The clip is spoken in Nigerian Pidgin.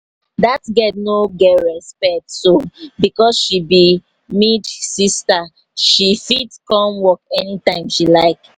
dat girl no get respect so because she be md sister she fit come work anytime she like?